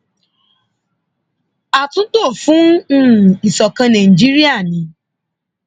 àtúntò fún um ìṣọkan nàìjíríà ni